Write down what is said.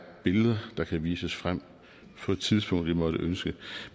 billeder der kan vises frem på et tidspunkt det måtte ønskes